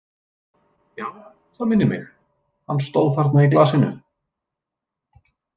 Já, það minnir mig, hann stóð þarna í glasinu.